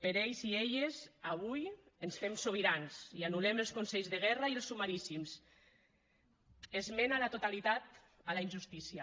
per ells i elles avui ens fem sobirans i anul·lem els consells de guerra i els sumaríssims esmena a la totalitat a la injustícia